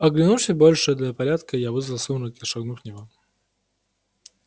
оглянувшись больше для порядка я вызвал сумрак и шагнул в него